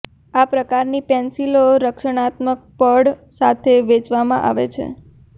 આ પ્રકારની પેન્સિલો રક્ષણાત્મક પડ સાથે વેચવામાં આવે છે